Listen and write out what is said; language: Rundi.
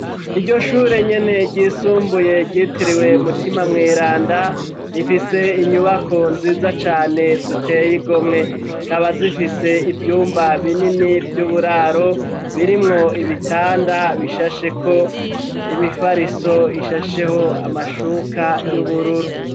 Iryo shure nyene ryisumbuye, ryitiriwe mutima mweranda, rifise inyubako nziza cane ziteye igomwe; zikaba zifise ivyumba binini vy'uburaro; birimwo ibitanda bishasheko imifariso, ishasheho amashuka y'ubururu.